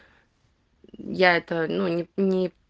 я это ну не не